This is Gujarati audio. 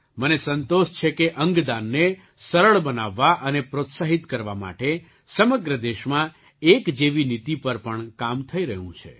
મને સંતોષ છે કે અંગદાનને સરળ બનાવવા અને પ્રોત્સાહિત કરવા માટે સમગ્ર દેશમાં એક જેવી નીતિ પર પણ કામ થઈ રહ્યું છે